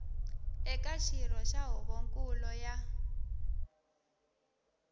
eka xirho xa huvonkulu ya